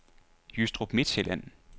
Jystrup Midtsjælland